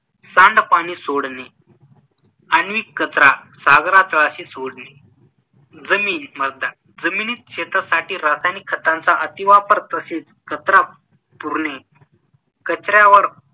सांडपाणी सोडणे, आण्विक कचरा सागरतळाशी सोडणे जमीन मृदा जमिनीत शेतीसाठी रासायनिक खतांचा अतिवापर तसेच कचरा पुरणे, कचऱ्यावर